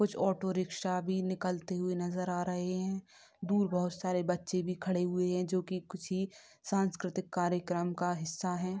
कुछ auto rickshaw भी निकलते हुए नजर आ रहे हैं। दूर बोहोत सारे बच्चे भी खड़े हुए हैं जो किसी सांस्कृतिक कार्यकर्म का हिस्सा हैं।